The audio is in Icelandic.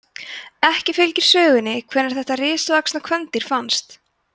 ekki fylgir sögunni hvenær þetta risavaxna kvendýr fannst